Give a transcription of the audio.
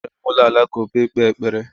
agara m ulo alakụba ikpe ekpere